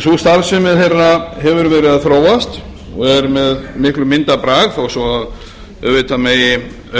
sú starfsemi þeirra hefur verið að þróast og er með miklum myndarbrag þó svo að auðvitað megi